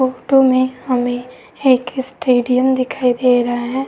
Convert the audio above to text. Photo में हमें एक स्टेडियम दिखाई दे रहा है।